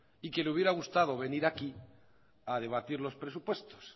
y que le hubiera gustado venir aquí a debatir los presupuestos